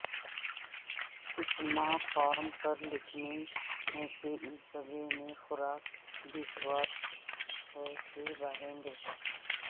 کچھ ماں فورم پر لکھنے کے اس جگہ میں خوراک بیسواد ہے کے بارے میں